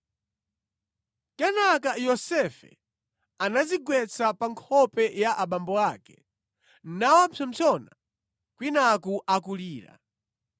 Kenaka Yosefe anadzigwetsa pa nkhope ya abambo ake, nawapsompsona kwinaku akulira.